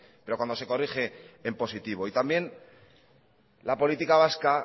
pero cuando se corrige en positivo y también la política vasca